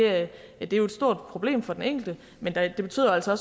er jo et stort problem for den enkelte men det betyder altså